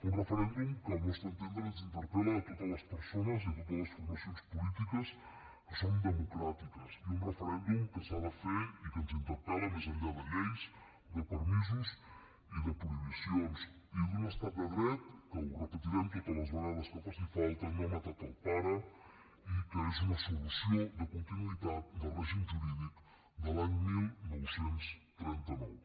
un referèndum que al nostre entendre ens interpel·la a totes les persones i a totes les formacions polítiques que som democràtiques i un referèndum que s’ha de fer i que ens interpel·la més enllà de lleis de permisos i de prohibicions i d’un estat de dret que ho repetirem totes vegades que faci falta no ha matat el pare i que és una solució de continuïtat del règim jurídic de l’any dinou trenta nou